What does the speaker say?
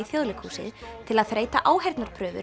Þjóðleikhúsið til að þreyta